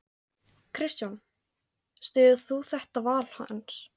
Kristján: Styður þú þetta val hans?